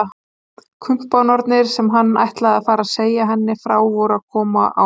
Kumpánarnir sem hann ætlaði að fara að segja henni frá voru að koma á harðahlaupum!